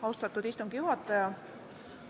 Austatud istungi juhataja!